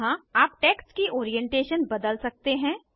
यहाँ आप टेक्स्ट की ओरिएंटेशन बदल सकते हैं